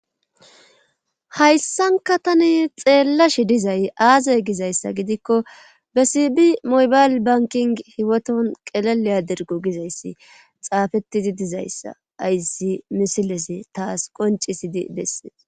Hayssanka tani xeellashi dizay aazey gizayssa gidikko bessibi mobayl banking hiwoton qeleleya dirgo gizayssi xaafettidi dizayssa ayssi misiles taas qoncisidi bessees.